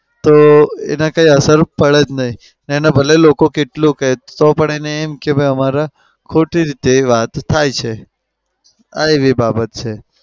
તો એને કંઈ અસર પડે જ નઈ. એને ભલે લોકો કેટલુય કે તો પણ એને એમ કે અમારા ખોટી રીતે વાત થાય છે. આ એવી બાબત છે.